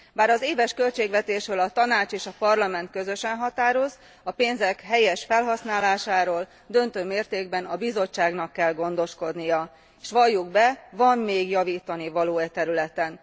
Bár az éves költségvetésről a Tanács és a Parlament közösen határoz, a pénzek helyes felhasználásáról döntő mértékben a Bizottságnak kell gondoskodnia, s valljuk be, van még javítanivaló e területen.